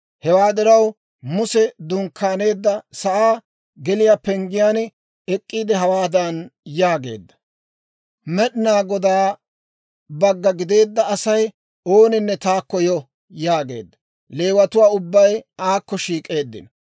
Hewaa diraw, Muse dunkkaaneedda sa'aa geliyaa penggiyaan ek'k'iide hawaadan yaageedda; «Med'inaa Godaa bagga gideedda Asay ooninne taakko yo!» yaageedda. Leewatuu ubbay aakko shiik'eeddino.